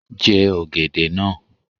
Jẹ ọ̀gẹ̀dẹ̀ náà